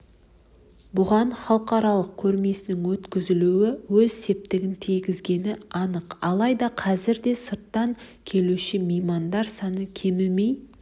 бұған халықаралық көрмесінің өткізілуі өз септігін тигізгені анық алайда қазір де сырттан келуші меймандар саны кемімей